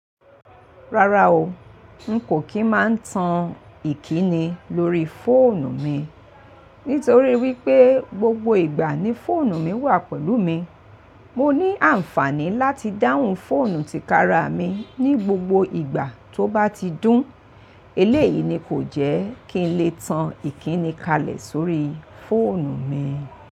Rárá o, n kò kí máa ń tan ìkíni lórí fóònù mi. Nítorí wípé gbogbo ìgbà ni fóònù mi wà pẹ̀lú mi. Mo ní àǹfàní láti dáhùn fóònù tí kára mi ní gbogbo ìgbà tó bá ti dún. Eléyìí ni kò jẹ́ kí n lè tan ìkíni kalẹ̀ sórí fóònù mi.